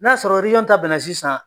N'a sɔrɔ rejiyɔn ta bɛnna sisan